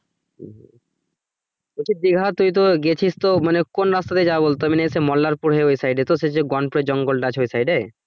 বলছি দিঘা তুই তো গিয়েছিস তো মানে কোন রাস্তা দিয়ে যায় বলতো মনে হচ্ছে মল্লালপুর হয়ে ওই side তো শেষে গনপুর জংলটা আছে ওই side এ